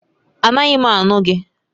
Anaghị m anụ gị